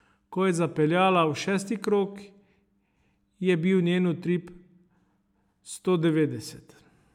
Ko je zapeljala v šesti krog, je bil njen utrip sto devetdeset.